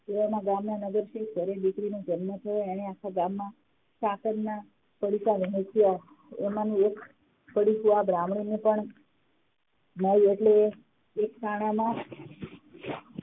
એવામાં ગામના નગરશ્રી ઘરે દીકરી નો જન્મ થયો એને આખા ગામમાં સાકર ના પડીકા વેચ્યા એમનું એક પડીકું આ બ્રહ્મની ને પણ મડ્યું એટલે એ એક તણા ના